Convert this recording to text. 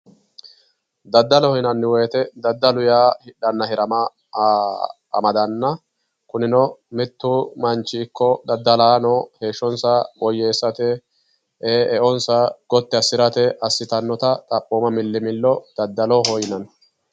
daddalo yinanni wote daddalu hidhanna hirama amadano ikkanna kunino mittu manchi ikkko daddalaano heeshshonsa woyyeessate eonsa gotti assirate assitannota xaphooma milli millo daddaloho yinanni.